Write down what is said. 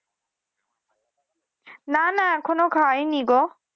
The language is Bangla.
না না এখনো খাইনি গো।